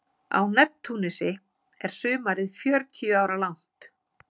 Á Neptúnusi er sumarið fjörutíu ára langt.